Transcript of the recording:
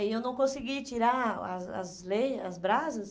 E eu não consegui tirar as as leias, as brasas.